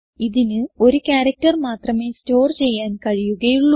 ഇതിന് ഒരു ക്യാരക്ടർ മാത്രമേ സ്റ്റോർ ചെയ്യാൻ കഴിയുകയുള്ളൂ